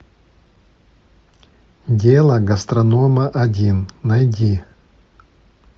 дело гастронома один найди